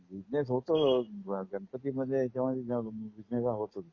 Business होतो. गणपती मध्ये ह्याचा मध्ये जाम बिजनेस हा होतोच.